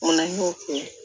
O la n y'o kɛ